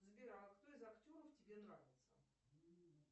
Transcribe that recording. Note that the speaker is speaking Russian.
сбер а кто из актеров тебе нравится